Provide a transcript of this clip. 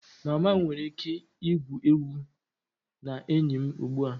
Mama m nwere ike igwu egwu na enyi m ugbu a?